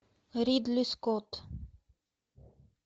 ридли скотт